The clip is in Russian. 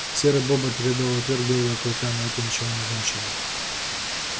серый бобр предал и отверг белого клыка но это ничего не значило